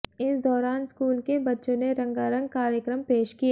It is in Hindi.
इस दौरान स्कूल के बच्चों ने रंगारंग कार्यक्रम पेश किए